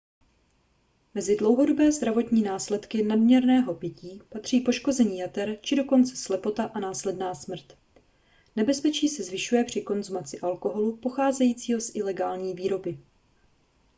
mezi dlouhodobé zdravotní následky nadměrného pití patří poškození jater či dokonce slepota a následná smrt nebezpečí se zvyšuje při konzumaci alkoholu pocházejícího z ilegální výroby